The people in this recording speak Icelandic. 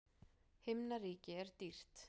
Himnaríki er dýrt.